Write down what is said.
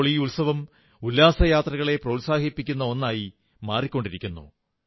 ഇപ്പോൾ ഈ ഉത്സവം ഉല്ലാസയാത്രകളെ പ്രോത്സാഹിപ്പിക്കുന്ന ഒന്നായി മാറിക്കൊണ്ടിരിക്കുന്നു